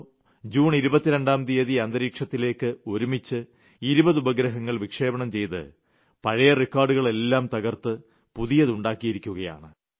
O June 22ാം തീയതി അന്തരീക്ഷത്തിലേക്ക് ഒരുമിച്ച് 20 ഉപഗ്രങ്ങൾ വിക്ഷേപണം ചെയ്ത് പഴയ റിക്കാർഡുകളെല്ലാം തകർത്ത് പുതിയത് ഉണ്ടാക്കിയിരിക്കുകയാണ്